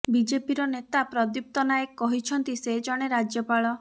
ବିଜେପିର ନେତା ପ୍ରଦୀପ୍ତ ନାୟକ କହିଛନ୍ତି ସେ ଜଣେ ରାଜ୍ୟପାଳ